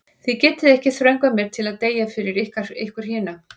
Þið getið ekki þröngvað mér til að deyja fyrir ykkur hina.